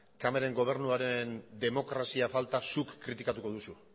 cameronen gobernuaren demokrazia falta zuk kritikatuko duzu